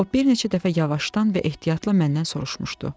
O bir neçə dəfə yavaşdan və ehtiyatla məndən soruşmuşdu.